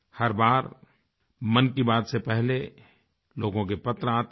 हर बार मन की बात से पहले लोगों के पत्र आते हैं